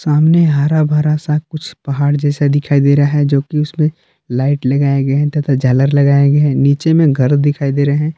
सामने हरा भरा सा कुछ पहाड़ जैसा दिखाई दे रहा है जोकि उसमें लाइट लगाए गए हैं तथा झालर लगाए गए हैं नीचे में घर दिखाई दे रहे हैं।